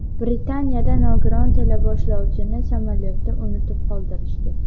Britaniyada nogiron teleboshlovchini samolyotda unutib qoldirishdi.